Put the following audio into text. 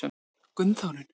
Gunnþórunn